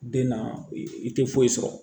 Den na i tɛ foyi sɔrɔ